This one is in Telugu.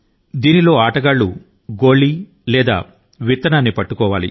ఆ గుంటల లో దాచిన గుళిక లేదా విత్తనాన్ని ఆటగాళ్లు కనిపెట్టాలి